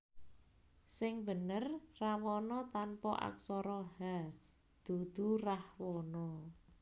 Sing bener Rawana tanpa aksara h dudu Rahwana